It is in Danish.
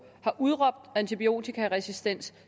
har udråbt antibiotikaresistens